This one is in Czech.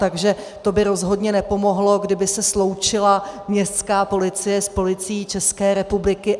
Takže to by rozhodně nepomohlo, kdyby se sloučila městská policie s Policií České republiky.